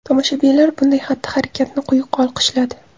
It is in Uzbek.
Tomoshabinlar bunday xatti-harakatni quyuq olqishladi.